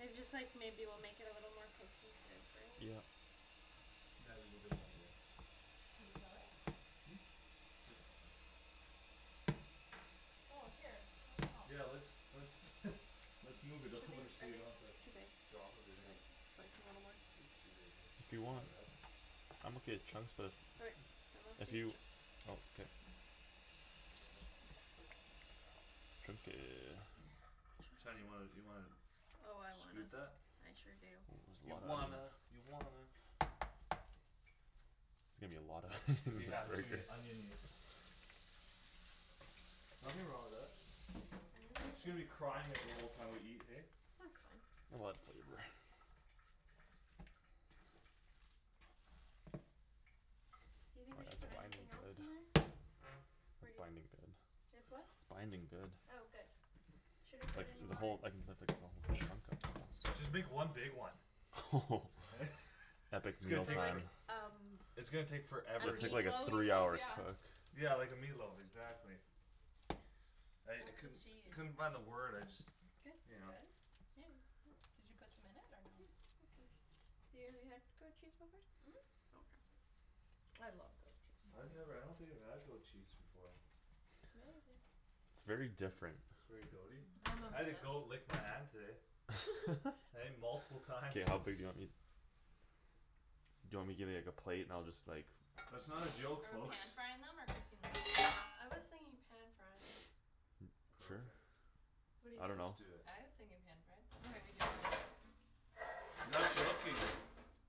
It's just, like, maybe we'll make it a little more cohesive, right? Yep. Can we kill it? Hmm? It's fine. Oh, here, let me help. Yeah, let's, let's Let's move it Should over these, so are you don't these have to too big? drop Should everything. I slice 'em a little more? Oopsie daisy. If you That's my want. bad. I'm okay with chunks but Okay, then let's If do you, chunks. oh, k. Chunky. Shan, you wanna, you wanna Oh, I scoot wanna. that? I sure do. That's a You lotta onion. wanna, you wanna There's gonna be a lotta onion in these Yeah, it's gonna be burgers. onion-y. Nothing wrong with that. She's Hands are gonna be good. crying at the whole time we eat, hey? That's fine. A lotta flavor. Do you Oh, think we should that's put binding anything else in there? good. It's Pretty. binding good. It's what? Binding good. Oh, good. Should I put Like, any the more whole, I can put, like, the whole chunk of tomatoes. Just make one big one. Epic It's gonna Meal So take for- Time. like um It's gonna take A forever It's to like, like Like the a meatloaf? meat three loaf, hour yeah. cook. Yeah, like a meatloaf, exactly. I, I How's the couldn't, cheese? couldn't find the word. I just Good. Is You it know. good? Yeah. Did you put some in it Yeah, or no? awesome. So you have, you had goat cheese before? Mhm. Okay. I love goat cheese. I've never, I don't think I've had goat cheese before. It's amazing. It's very different. It's very goat- y? I'm I had a goat obsessed. lick my hand today. Hey? Multiple times. K, how big do you want these? Do you want me to give you, like, a plate and I'll just like That's not a joke, Are we pan folks. frying them or cooking them? I was thinking pan frying. Sure. Perfect. What do you I Let's dunno. think? do it. I was thinking pan fry. That's how we Okay. do ours. Not joking.